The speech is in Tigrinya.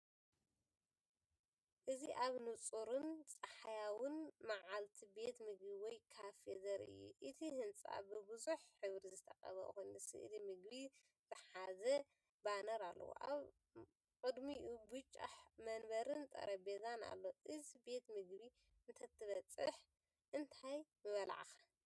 እዚ ኣብ ንጹርን ጸሓያዊን መዓልቲ ቤት ምግቢ ወይ ካፌ ዘርኢ እዩ። እቲ ህንጻ ብብዙሕ ሕብሪ ዝተቐብአ ኮይኑ፡ ስእሊ ምግቢ ዝሓዘ ባነር ኣለዎ። ኣብ ቅድሚኡ ብጫ መንበርን ጠረጴዛን ኣሎ። እዚ ቤት ምግቢ እንተትበጽሕ እንታይ ምበልዕካ?